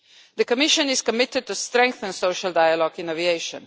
The Commission is committed to strengthening social dialogue in aviation.